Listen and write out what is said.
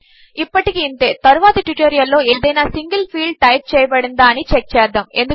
ఇప్పటికిఇంతే తరువాతిట్యుటోరియల్లో ఏదైనాసింగిల్ఫీల్డ్టైప్చేయబడిందాఅనిచెక్చేద్దాము